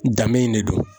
Danbe in de don